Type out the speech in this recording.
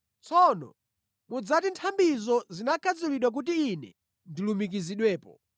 Tsono mudzati, “Nthambizo zinakhadzulidwa kuti ine ndilumikizidwepo.”